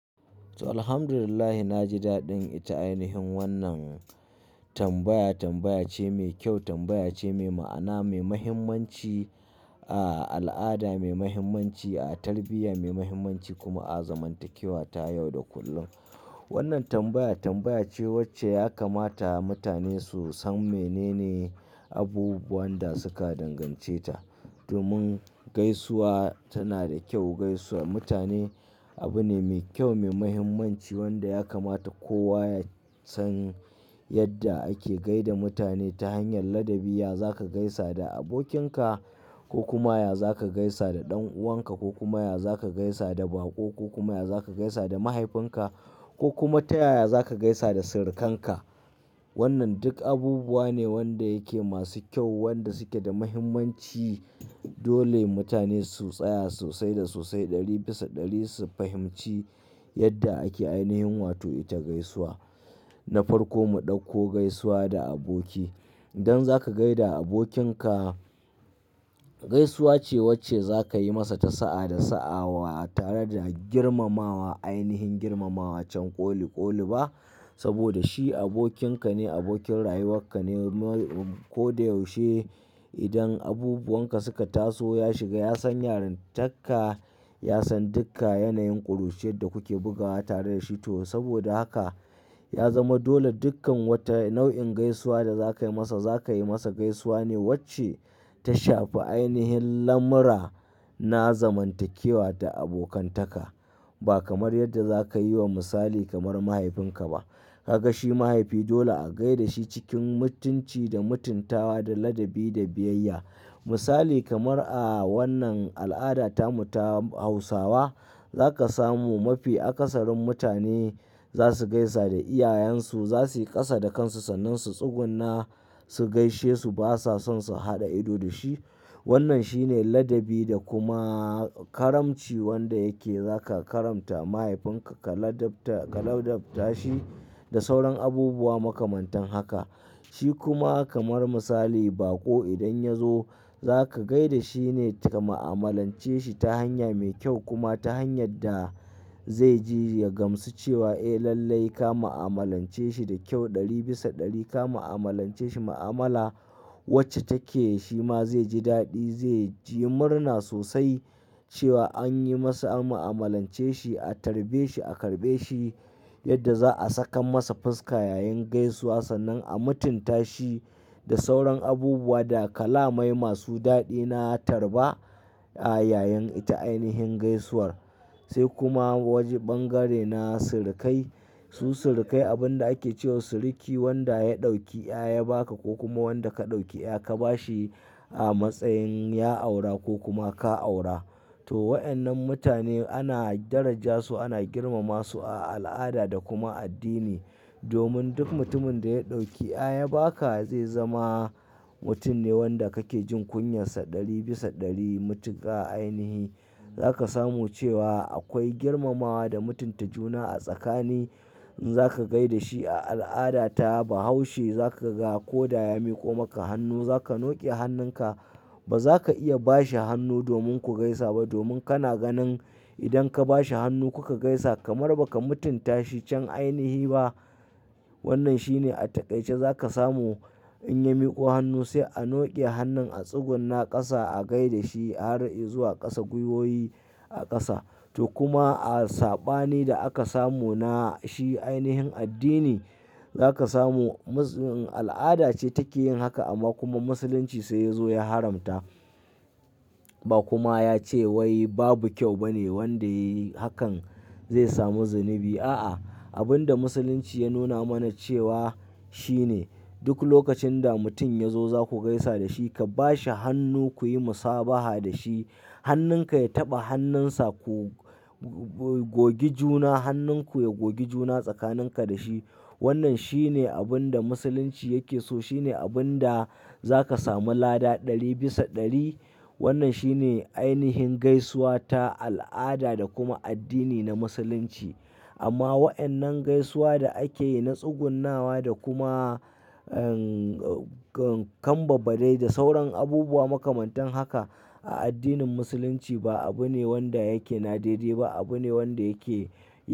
To, Alhamdulillahi, na ji daɗin ita ainihin wannan tambaya. Tambaya ce mai kyau, tambaya ce mai ma'ana, mai muhimmanci a al'ada, mai muhimmanci a tarbiyya, mai muhimmanci kuma a zamantakewa ta yau da kullum. Wannan tambaya tambaya ce wacce ya kamata mutane su san menene abubuwan da suka dangance ta. Domin gaisuwa tana da kyau, gaisuwa mutane abu ne mai kyau mai muhimmanci wanda ya kamata kowa ya san yadda ake gai da mutane ta hanyar ladabi. Ya za ka gaisa da abokinka ko kuma ya za ka gaisa da ɗan'uwanka, ko kuma ya za ka gaisa da baƙo, ko kuma ya za ka gaisa da mahaifinka, ko kuma ta yaya za ka gaisa da sirikanka. Wannan duk abubuwa ne wanda yake masu kyau wanda suke da muhimmanci. Dole mutane su tsaya sosai da sosai ɗari bisa ɗari su fahimci yadda ake ainihin wato ita gaisuwa. Na farko mu ɗauko gaisuwa da aboki. Idan za ka gai da abokinka, gaisuwa ce wacce za ka yi masa ta sa'a da sa'awa tare da girmamawa ainihin girmamawa can ƙoli-ƙoli ba. Saboda shi abokinka ne, abokin rayuwarka ne. Ko da yaushe idan abubuwanka suka taso, ya shiga ya san yarintarka, ya san duka yanayin ƙuruciyar da kuke bugawa tare da shi to saboda haka ya zama dole dukkan wata nau'in gaisuwa da za ka yi masa, za ka yi masa gaisuwa ne wacce ta shafi ainihin lamura na zamantakewa da abokantaka. Ba kamar yadda za ka yi wa misali kamar mahaifinka ba. Ka ga shi mahaifi dole a gai da shi cikin mutunci da mutuntawa da ladabi da biyayya. Misali kamar a wannan al'ada ta mu ta Hausawa, za ka samu mafi akasarin mutane za su gaisa da iyayensu, za su kasa da kansu sannan su tsugunna su gaishe su. Ba sa son su haɗa ido da shi. Wannan shine ladabi da kuma karamci wanda yake za ka karamta mahaifinka ka ladabta ka ladabta shi da sauran abubuwa makamantan haka. Shi kuma kamar misali baƙo idan ya zo za ka gai da shi ne ka ma'amalance shi ta hanya mai kyau kuma ta hanyar da zai ji ya gamsu cewa eh lallai ka ma'amalance shi da kyau ɗari bisa ɗari. Ka ma'amalance shi ma'amala wacce take shi ma zai ji daɗi, zai ji murna sosai cewa an yi masa an ma'amalance shi, a tarbe shi, a karɓe shi yadda za a sakan masa fuska yayin gaisuwa sannan a mutunta shi da sauran abubuwa da kalamai masu daɗi na tarba a yayin ita ainihin gaisuwar. Sai kuma wajen bangare na sirikai. Su sirikai abin da ake cewa siriki wanda ya ɗauki ya baka ko kuma wanda ka ɗauki ya ka bashi a matsayin ya aura ko kuma ka aura. To wayannan mutane ana daraja su, ana girmama su a al'ada da kuma addini. Domin duk mutumin da ya ɗauki ya baka zai zama mutum ne wanda kake jin kunyarsa ɗari bisa ɗari matuka ainihi. Za ka samu cewa akwai girmamawa da mutunta juna a tsakani. In za ka gai da shi a al'adata ba haushi za ka ga ko da ya miƙo maka hannu za ka noke hannunka. Ba za ka iya ba shi hannu domin ku gaisa ba. Domin kana ganin idan ka ba shi hannu kuka gaisa kamar baka mutunta shi can ainihi ba. Wannan shine a taƙaice za ka samu in ya miƙo hannu sai a noke hannun a tsugunna ƙasa, a gai da shi, har i zuwa ƙasa, gwiwoyi a ƙasa. To kuma a saɓani da aka samu na shi ainihin addini za ka samu al'ada ce take yin haka amma kuma Musulunci sai ya zo ya haramta. Ba kuma ya ce wai babu kyau bane wanda ya yi hakan zai samu zunubi a. A'a, abin da Musulunci ya nuna mana cewa shine duk lokacin da mutum ya zo za ku gaisa da shi, ka ba shi hannu ku yi musabaha da shi. Hannunka ya taɓa hannunsa ku gogi juna, hannunku ya gogi juna tsakaninka da shi. Wannan shi ne abin da Musulunci yake so. Shi ne abin da za ka samu lada ɗari bisa ɗari. Wannan shi ne ainihin gaisuwa ta al'ada da kuma addini na Musulunci. Amma wayannan gaisuwa da ake yi na tsugunnawa da kuma, eh, kambabadai da sauran abubuwa makamantan haka a addinin Musulunci ba abu ne wanda yake nadaidai ba, abu ne wanda yake.